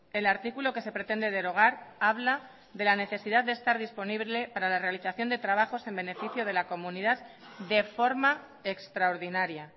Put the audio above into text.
el artículo que se pretende derogar habla de la necesidad de estar disponible para la realización de trabajos en beneficio de la comunidad de forma extraordinaria